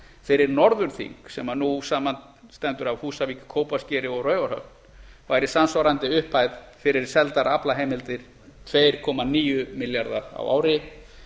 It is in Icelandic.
fyrir norðurþing sem nú samanstendur af húsavík kópaskeri og raufarhöfn væri samsvarandi upphæð fyrir seldar aflaheimildir tvö komma níu milljarðar á ári